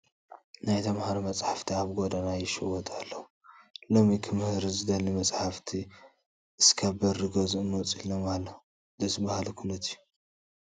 ናይ ተመሃሮ መፃሕፍቲ ኣብ ጐደና ይሽየጡ ኣለዉ፡፡ ሎሚ ክመሃር ዝደሊ መፃሕፍቲ እስካብ በሪ ገዝኡ መፂኦምሉ ኣለዉ፡፡ ደስ በሃሊ ኩነት እዩ፡፡